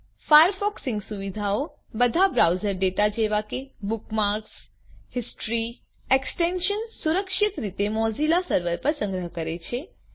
Firefox sync સુવિધાઓ બધા browser data જેવા કે બુકમાર્ક્સ હિસ્ટ્રી અને ઇન્સ્ટોલ કરેલા એક્સટેન્શન્સ સુરક્ષિત રીતે મોઝીલા સર્વર પર સંગ્રહ કરે છે